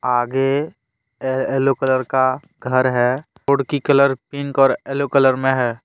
आगे yellow colour का घर है रोड की कलर पिंक और येलो कलर में है।